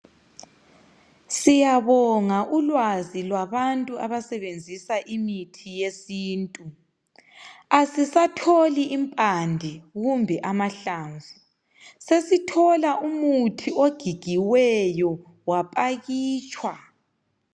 Siyabonga ulwazi lwabantu abasebenzisa imithi yesintu. Asisatholi impande kumbe amahlamvu, sesithola umuthi ogigiweyo wapakitshwa.